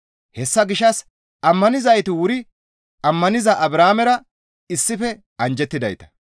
Hessa gishshas ammanizayti wuri ammaniza Abrahaamera issife anjjettidayta.